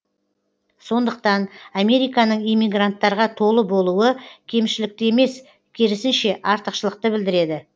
сондықтан американың иммигранттарға толы болуы кемшілікті емес керісінше артықшылықты білдіреді